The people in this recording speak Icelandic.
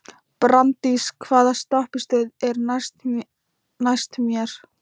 Branddís, hvaða stoppistöð er næst mér?